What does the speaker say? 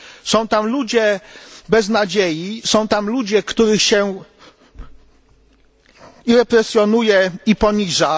Są tam ludzie bez nadziei, są tam ludzie, których się i represjonuje, i poniża.